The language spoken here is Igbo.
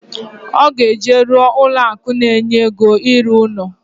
Oga eje ruo ụlọ akụ na enye ego iru uno